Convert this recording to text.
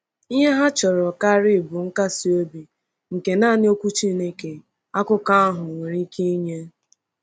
Ihe ha chọrọ karị bụ nkasi obi nke naanị Okwu Chineke, akụkọ ahụ, nwere ike inye.